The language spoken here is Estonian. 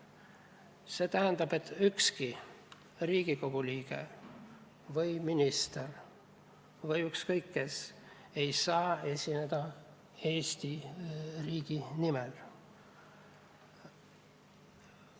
See tähendab, et ükski Riigikogu liige ega minister ega ükskõik kes ei saa esineda Eesti riigi nimel.